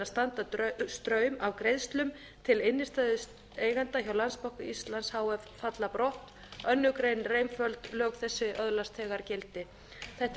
standa straum af greiðslum til innstæðueigenda hjá landsbanka íslands h f falla brott annarri grein er einföld lög þessi öðlast þegar gildi þetta er frumvarp